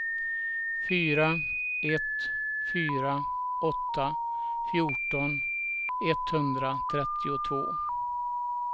fyra ett fyra åtta fjorton etthundratrettiotvå